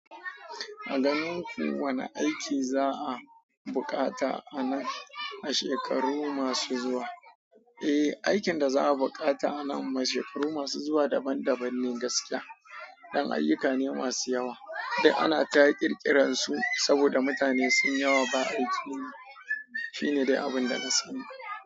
A ganin ku wane aiki za'a bukata a nan, a shekaru masu zuwa? Eh, aikin da za'a bukata a nan, a shekaru masu zuwa daban-daban ne gaskiya. Dan ayyuka ne masu yawa, duk ana ta ƙirƙiran su saboda mutane sunyi yawa ba aiki. Shine dai abunda na sani.